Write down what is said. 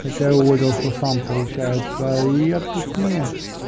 хотя уволился сам получается и отпускные